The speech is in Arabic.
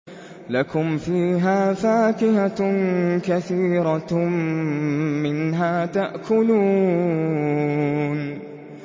لَكُمْ فِيهَا فَاكِهَةٌ كَثِيرَةٌ مِّنْهَا تَأْكُلُونَ